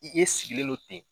I e sigilen no ten.